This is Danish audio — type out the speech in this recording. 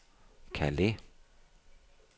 Calais